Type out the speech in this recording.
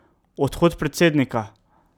Odhod predsednika.